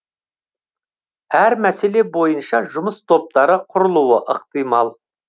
әр мәселе бойынша жұмыс топтары құрылуы ықтимал